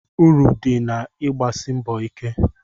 Uru dị na-igbasi mbọ ike.